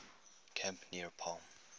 camp near palm